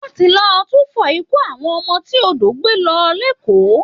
Wọ́n ti lọ túfọ̀ ikú àwọn ọmọ tí odò gbé lọ lÉkòó